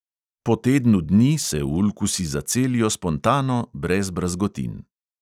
Po tednu dni se ulkusi zacelijo spontano brez brazgotin.